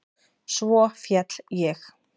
Svo féll ég.